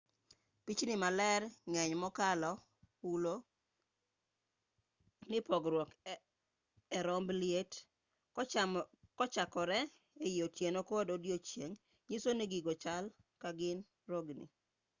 pichni ma lergi ng'eny mokalo hulo ni pogruok e kar romb liet kochakore ei otieno kod odiechieng' nyiso ni gigo chal ka gin rogni